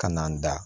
Ka na n da